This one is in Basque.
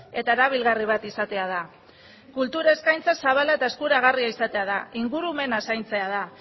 eta erabilgarri bat izatea da kultura eskaintza zabala eta eskuragarria izatea da ingurumena zaintzea da